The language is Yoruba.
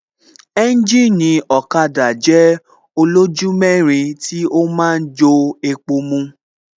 Ẹ́ńjìnì ọ̀kada jẹ́ olójú mẹ́rin tí ó ma ń jo epo mu